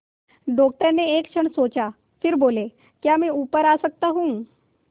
doctor ने एक क्षण सोचा फिर बोले क्या मैं ऊपर आ सकता हूँ